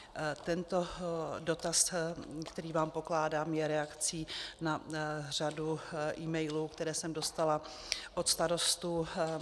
Tento dotaz, který vám pokládám, je reakcí na řadu emailů, které jsem dostala od starostů.